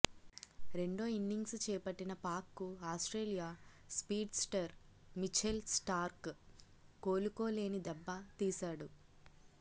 రెండో ఇన్నింగ్స్ చేపట్టిన పాక్కు ఆస్ట్రేలియా స్పీడ్స్టర్ మిఛెల్ స్టార్క్ కోలుకోలేని దెబ్బ తీశాడు